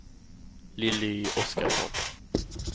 Lilly Oskarsson